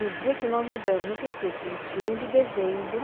No dia que nós mudamos, nunca esqueço, vinte e um de dezembro,